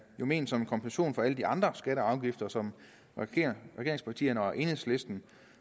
jo ment som en kompensation for alle de andre skatter og afgifter som regeringspartierne og enhedslisten